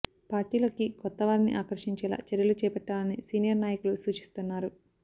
పార్టీలోకి కొత్త వారిని ఆకర్షించేలా చర్యలు చేపట్టాలని సీనియర్ నాయకులు సూచిస్తున్నారు